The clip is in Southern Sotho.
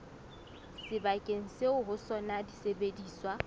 sebakeng seo ho sona disebediswa